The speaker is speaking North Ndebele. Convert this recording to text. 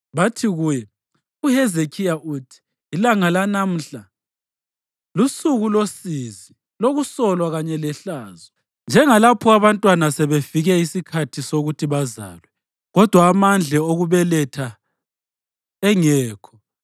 Bathi kuye, “UHezekhiya uthi: ilanga lanamhla lusuku losizi lokusolwa kanye lehlazo njengalapho abantwana sekufike isikhathi sokuthi bazalwe kodwa amandla okubeletha engekho.